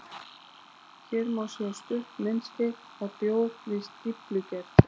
Hér má sjá stutt myndskeið af bjór við stíflugerð.